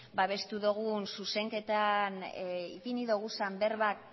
babestu dogun zuzenketan ipini duguzan berbak